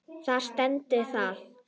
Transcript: Þar stendur það.